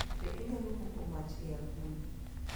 Be inyalo moko mach e agulu?